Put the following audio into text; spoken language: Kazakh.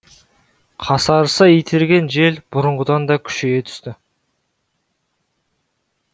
қасарыса итерген жел бұрынғыдан да күшейе түсті